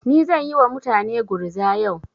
Ni zan yi wa mutane gurza yau.